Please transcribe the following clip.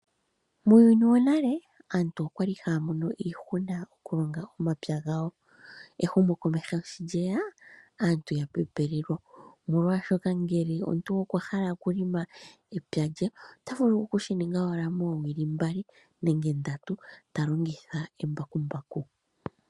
Muuyuni wonale aantu okwali haya mono iihuna okulonga omapya gawo. Ehumokomeho shi lye ya, aantu oya pepelelwa, omolwaashoka ngele omuntu okwa hala oku lima epya lye ota vulu oku shininga owala moomwedhi mbali nenge ndatu talongitha embakumbaku.